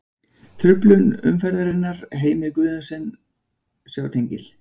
Truflun umferðarinnar: Heimir Guðjónsson Sjá tengil.